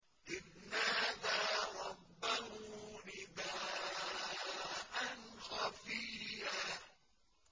إِذْ نَادَىٰ رَبَّهُ نِدَاءً خَفِيًّا